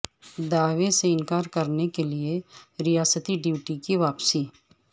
دعوے سے انکار کرنے کے لئے ریاستی ڈیوٹی کی واپسی